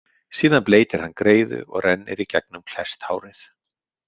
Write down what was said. Síðan bleytir hann greiðu og rennir í gegnum klesst hárið.